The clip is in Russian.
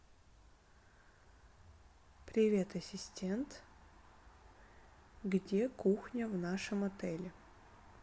привет ассистент где кухня в нашем отеле